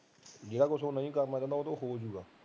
ਜਿਹੜਾ ਕੁਝ ਉਹ ਨਹੀਂ ਕਰਨਾ ਚਾਹੁੰਦਾ ਉਹ ਤੋਂ ਹੋਜੂਗਾ